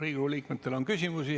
Riigikogu liikmetel on küsimusi.